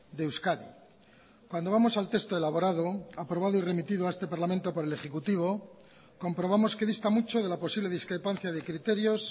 de euskadi cuando vamos al texto elaborado aprobado y remitido a este parlamento por el ejecutivo comprobamos que dista mucho de la posible discrepancia de criterios